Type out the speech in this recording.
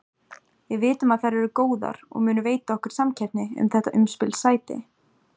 Við vitum að þær eru góðar og munu veita okkur samkeppni um þetta umspilssæti.